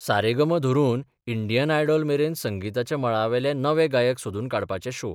सारेगम धरून Indian idol मेरेन संगिताच्या मळावेले नवे गायक सोदून काडपाचे शो.